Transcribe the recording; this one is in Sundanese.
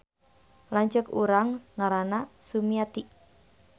Lanceuk urang ngaranna Sumiati